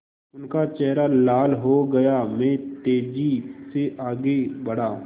उनका चेहरा लाल हो गया मैं तेज़ी से आगे बढ़ा